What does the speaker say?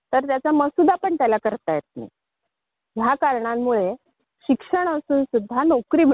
त्यामुळे नोकरीच्या मुलाखतीला गेल्यावर त्याच्या हातात फक्त डिग्रीचे प्रमाणपत्र असतं त्याला